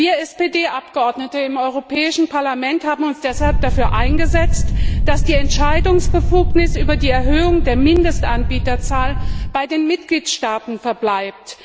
Wir SPD Abgeordnete im Europäischen Parlament haben uns deshalb dafür eingesetzt, dass die Entscheidungsbefugnis über die Erhöhung der Mindestanbieterzahl bei den Mitgliedstaaten verbleibt.